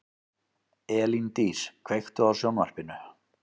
Elíndís, kveiktu á sjónvarpinu.